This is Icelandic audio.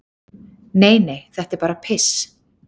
"""Nei, nei, þetta er bara piss."""